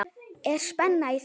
Er spenna í þessu?